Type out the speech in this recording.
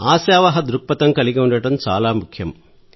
ఆశావహ దృక్పథం కలిగి ఉండటం చాలా ముఖ్యం